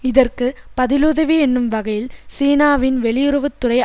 இதற்கு பதிலுதவி என்னும் வகையில் சீனாவின் வெளியுறவு துறை